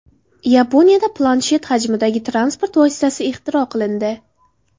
Yaponiyada planshet hajmidagi transport vositasi ixtiro qilindi .